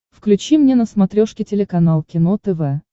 включи мне на смотрешке телеканал кино тв